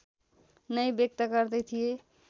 नै व्यक्त गर्दै थिए